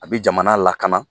A be jamana lakana